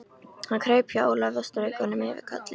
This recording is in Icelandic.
Hann kraup hjá Ólafi og strauk honum yfir kollinn.